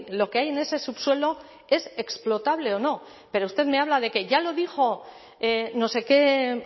lo que hay en ese subsuelo es explotable o no pero usted me habla de que ya lo dijo no sé qué